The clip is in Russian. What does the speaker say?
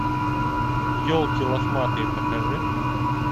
елки лохматые покажи